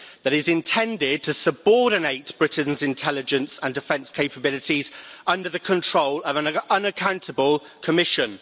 That is intended to subordinate Britain's intelligence and defence capabilities under the control of an unaccountable Commission.